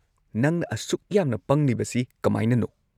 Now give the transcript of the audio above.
ꯅꯪꯅ ꯑꯁꯨꯛ ꯌꯥꯝꯅ ꯄꯪꯂꯤꯕꯁꯤ ꯀꯃꯥꯏꯅꯅꯣ?